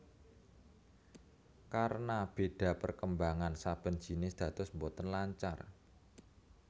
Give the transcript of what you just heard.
Karena béda perkembangan saben jinis dados boten lancar